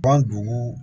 Ban dugu